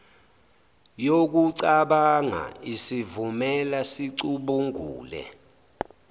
yokucabanga isivumela sicubungule